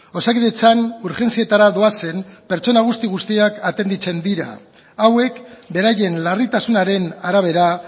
osakidetzan urgentzietara doazen pertsona guzti guztiak atenditzen dira hauek beraien larritasunaren arabera